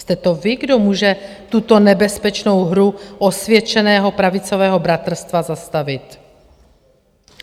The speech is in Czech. Jste to vy, kdo může tuto nebezpečnou hru osvědčeného pravicového bratrstva zastavit.